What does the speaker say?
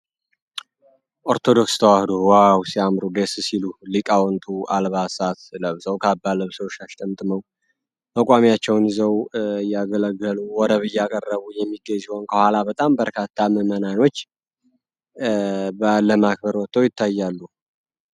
ኦርቶዶክስ ተዋሕዶ ዋው ደስ ሉለ ሲያምሩ ሊቃውንቱ አልባሳት ለብሰው፣ ካባ ለብሰው ፣ ሻሽ ጠምጥመው በቋሚያቸውን ይዘው እያገለገሉ ፣ወረብ እያቀረቡ የሚገኙ ሲሆን ከኋላ በጣም በርካታ ምዕመናኖች በዓል ለማክበር ወጠው ይታያሉ።